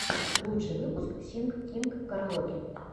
лучший выпуск синг кинг караоке